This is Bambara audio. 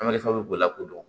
An ma nafa bɛ b'o la ko dɔn